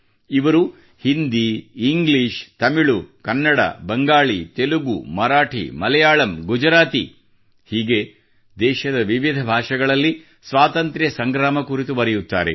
ಇವರು ಹಿಂದೀ ಇಂಗ್ಲೀಷ್ ತಮಿಳು ಕನ್ನಡ ಬಂಗಾಳಿ ತೆಲುಗು ಮರಾಠಿ ಮಲಯಾಳಂ ಗುಜರಾತಿ ಹೀಗೆ ದೇಶದ ವಿವಿಧ ಭಾಷೆಗಳಲ್ಲಿ ಸ್ವಾತಂತ್ರ್ಯ ಸಂಗ್ರಾಮ ಕುರಿತು ಬರೆಯುತ್ತಾರೆ